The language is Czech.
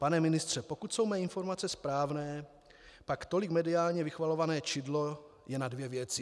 Pane ministře, pokud jsou mé informace správné, pak tolik mediálně vychvalované čidlo je na dvě věci.